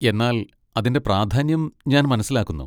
എന്നാൽ അതിന്റെ പ്രാധാന്യം ഞാൻ മനസ്സിലാക്കുന്നു.